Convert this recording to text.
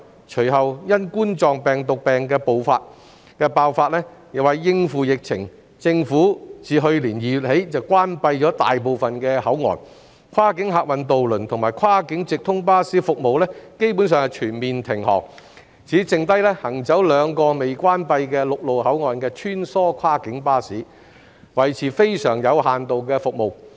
隨後，因2019冠狀病毒病爆發，為應付疫情，政府自去年2月起關閉大部分口岸，跨境客運渡輪及跨境直通巴士服務基本上全面停止，只餘下行走兩個未關閉的陸路口岸的穿梭跨境巴士維持非常有限度的服務。